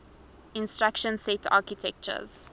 instruction set architectures